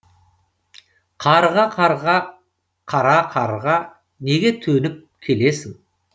қарға қарға қара қарға неге төніп келесің